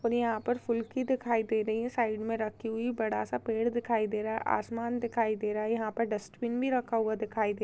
--और यहाँ पर फुल्की दिखाई दे रही है साइड मे रखी हुई बड़ा सा पेड़ दिखाई दे रहा है आसमान दिखाई दे रहा है यहाँ पर डस्ट्बिन भी रखा हुआ दिखाई दे--